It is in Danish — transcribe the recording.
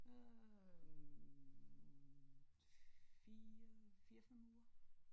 Øh 4 4 5 uger